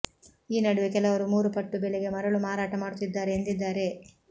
ಈ ನಡುವೆ ಕೆಲವರು ಮೂರು ಪಟ್ಟು ಬೆಲೆಗೆ ಮರಳು ಮಾರಾಟ ಮಾಡುತ್ತಿದ್ದಾರೆ ಎಂದಿದ್ದಾರೆ